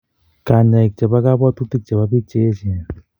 Kanyaik chepo kapwatutik chepo piik cheechen